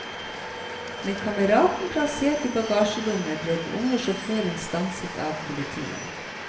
Med kameraten plassert i bagasjerommet ble den unge sjåføren stanset av politiet.